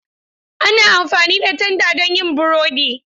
Ana amfani da tanda don yin burodi.